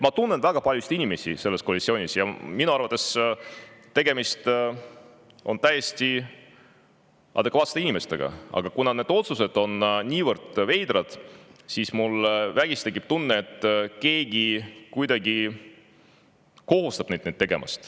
Ma tunnen väga paljusid inimesi sellest koalitsioonist ja minu arvates on tegemist täiesti adekvaatsete inimestega, aga kuna need otsused on niivõrd veidrad, siis mul vägisi tekib tunne, et keegi kuidagi kohustab neid otsuseid tegema.